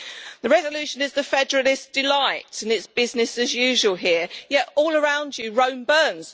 The resolution is a federalist's delight and it is business as usual here, yet all around you, Rome burns.